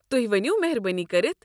تہۍ ؤنو مہربٲنی کٔرتھ۔